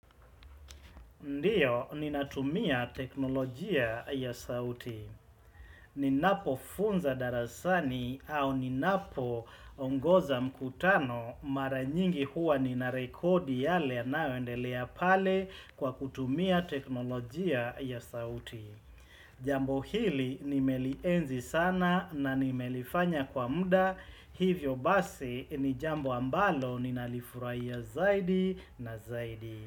Ndio, ninatumia teknolojia ya sauti. Ninapo funza darasani au ninapo ongoza mkutano mara nyingi huwa ninarekodi yale yanayoendelea pale kwa kutumia teknolojia ya sauti. Jambo hili nimelienzi sana na nimelifanya kwa muda, hivyo basi ni jambo ambalo ninalifurahia zaidi na zaidi.